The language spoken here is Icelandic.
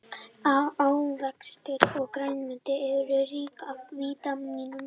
ávextir og grænmeti eru rík af vítamínum